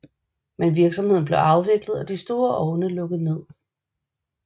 Men virksomheden blev afviklet og de store ovne lukket ned